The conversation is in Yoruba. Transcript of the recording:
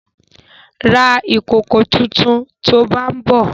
Ra ìkòkò tuntun to bá ń bọ̀!